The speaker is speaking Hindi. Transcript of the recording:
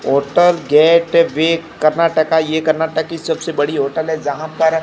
होटल गेट भी कर्नाटका ये कर्नाटक की सबसे बड़ी होटल है जहां पर--